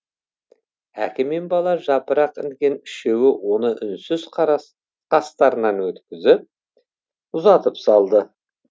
әке мен бала жапырық інген үшеуі оны үнсіз қастарынан өткізіп ұзатып салды